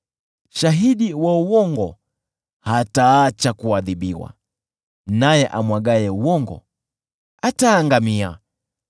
Shahidi wa uongo hataacha kuadhibiwa, naye amwagaye uongo ataangamia.